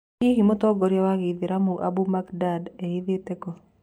Hihi mũtongoria wa Gĩithĩramu Ambu Mbagindad ehithĩte kũũ ?